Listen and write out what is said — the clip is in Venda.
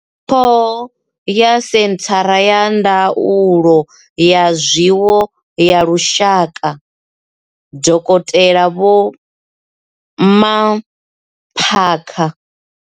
Ṱhoho ya Senthara ya Ndaulo ya Zwiwo ya Lushaka, Dokotela Vho Mmaphaka.